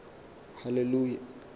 haleluya